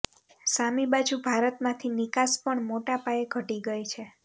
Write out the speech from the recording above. સામી બાજુ ભારતમાંથી નિકાસ પણ મોટા પાયે ઘટી ગઈ છે